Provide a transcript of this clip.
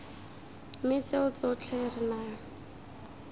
mme tseo tsotlhe re na